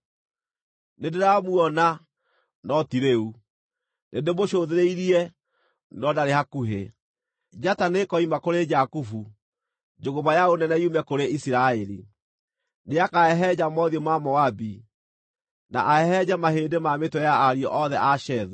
“Nĩndĩramuona, no ti rĩu; nĩndĩmũcũthĩrĩirie, no ndarĩ hakuhĩ. Njata nĩĩkoima kũrĩ Jakubu; njũgũma ya ũnene yume kũrĩ Isiraeli. Nĩakahehenja mothiũ ma Moabi, na ahehenje, mahĩndĩ ma mĩtwe ya ariũ othe a Shethu.